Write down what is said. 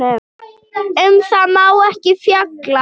Um það má ekki fjalla.